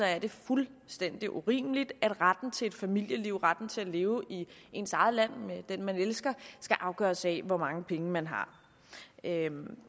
er det fuldstændig urimeligt at retten til et familieliv retten til at leve i ens eget land med den man elsker skal afgøres af hvor mange penge man har